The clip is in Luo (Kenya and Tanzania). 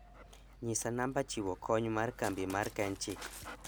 nyisa namba chiwo kony mar kambi mar kenchic